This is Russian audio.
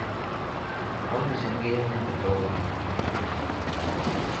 ольга сергеевна петрова